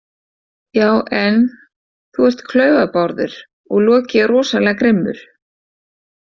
Já en, þú ert klaufabárður og Loki er rosalega grimmur.